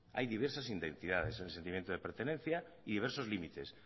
hay diversas identidades en el sentimiento de pertenencia y diversos límites